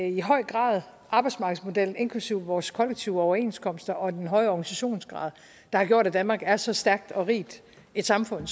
i høj grad arbejdsmarkedsmodellen inklusive vores kollektive overenskomster og den høje organisationsgrad der har gjort at danmark er så stærkt og rigt et samfund